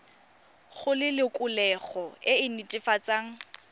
go lelokolegolo e e netefatsang